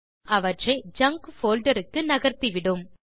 மேலும் அவற்றை junk folder க்கு நகர்த்திவிடும்